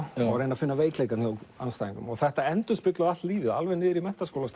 og reyndu að finna veikleika hjá andstæðingnum þetta endurspeglaði allt lífið alveg niður í